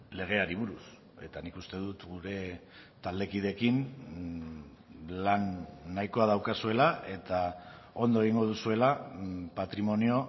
legeari buruz eta nik uste dut gure taldekideekin lan nahikoa daukazuela eta ondo egingo duzuela patrimonio